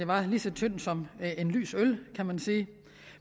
var lige så tyndt som en lys øl kan man sige